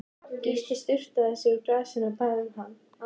Gísli sturtaði í sig úr glasinu, og bað um annað.